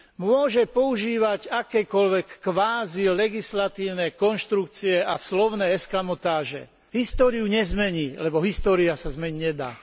Môže používať akékoľvek kvázi legislatívne konštrukcie a slovné eskamotáže, históriu nezmení, lebo história sa zmeniť nedá.